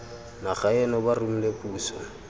naga eno ba romile puso